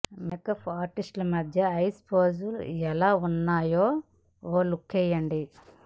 makeup artist ల మధ్య ఐష్ ఫోజులెలా ఉన్నాయో ఓ లుక్కేయండి